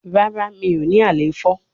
Rara mi o ni alefo